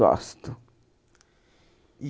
Gosto. E